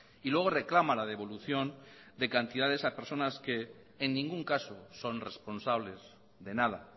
y luego reclama la devolución de cantidades a personas que en ningún caso son responsables de nada